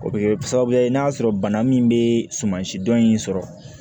O bɛ kɛ sababu ye n'a sɔrɔ bana min bɛ suman si dɔn in sɔrɔ